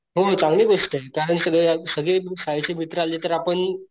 हम्म चांगली गोष्टय कारण सगळे सगळी शाळेची मित्र आले तर आपण,